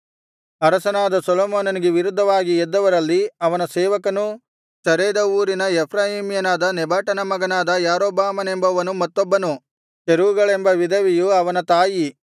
ಅರಸನಾದ ಸೊಲೊಮೋನನಿಗೆ ವಿರುದ್ಧವಾಗಿ ಎದ್ದವರಲ್ಲಿ ಅವನ ಸೇವಕನೂ ಚರೇದ ಊರಿನ ಎಫ್ರಾಯೀಮ್ಯನಾದ ನೆಬಾಟನ ಮಗನಾದ ಯಾರೊಬ್ಬಾಮನೆಂಬವನು ಮತ್ತೊಬ್ಬನು ಚೆರೂಗಳೆಂಬ ವಿಧವೆಯು ಅವನ ತಾಯಿ